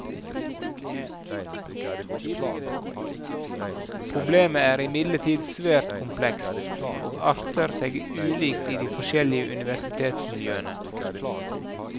Problemet er imidlertid svært komplekst, og arter seg ulikt i de forskjellige universitetsmiljøene.